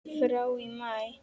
frá í maí.